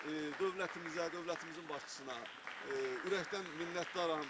Mən dövlətimizə, dövlətimizin başçısına ürəkdən minnətdaram.